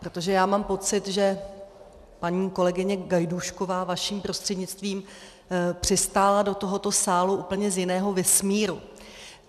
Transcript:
Protože já mám pocit, že paní kolegyně Gajdůšková vaším prostřednictvím přistála do tohoto sálu úplně z jiného vesmíru.